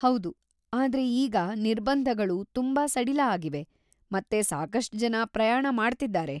ಹೌದು, ಆದ್ರೆ ಈಗ ನಿರ್ಬಂಧಗಳು ತುಂಬಾ ಸಡಿಲ‌ ಆಗಿವೆ ಮತ್ತೆ ಸಾಕಷ್ಟ್ ಜನ ಪ್ರಯಾಣ ಮಾಡ್ತಿದ್ದಾರೆ.